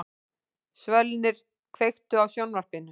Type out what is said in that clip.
Svölnir, kveiktu á sjónvarpinu.